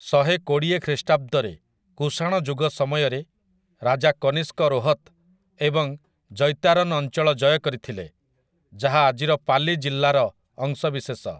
ଶହେକୋଡ଼ିଏ ଖ୍ରୀଷ୍ଟାବ୍ଦରେ, କୁଶାଣ ଯୁଗ ସମୟରେ, ରାଜା କନିଷ୍କ ରୋହତ୍ ଏବଂ ଜୈତାରନ୍ ଅଞ୍ଚଳ ଜୟ କରିଥିଲେ, ଯାହା ଆଜିର ପାଲି ଜିଲ୍ଲାର ଅଂଶବିଶେଷ ।